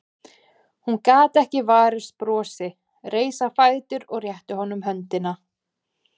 Hún gat ekki varist brosi, reis á fætur og rétti honum höndina.